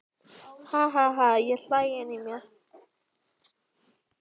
Ha ha ha ég hlæ inní mér.